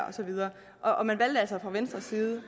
og så videre og man valgte altså fra venstres side